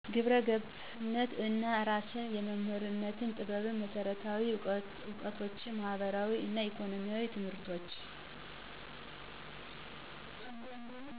ግብረ ገብነት እና እራስን የመምራትን ጥበብ መሰረታዊ እውቀቶችን ማህበራዊ እና ኢኮኖሚያዊ ትምህርቶች።